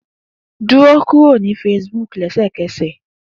Duro kuro ni Facebook lẹsẹkẹsẹ!